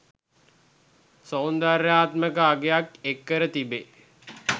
සෞන්දර්යාත්මක අගයක්ද එක් කර තිබේ.